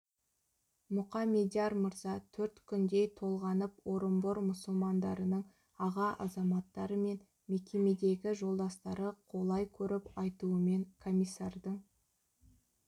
мұқаммедияр мырза төрт күндей толғанып орынбор мұсылмандарының аға азаматтары мен мекемедегі жолдастары қолай көріп айтуымен комиссардың